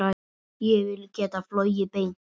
Ég vil geta flogið beint.